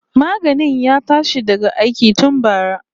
Maganin ya tashi daga aiki tun bara